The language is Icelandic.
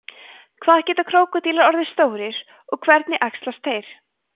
hvað geta krókódílar orðið stórir og hvernig æxlast þeir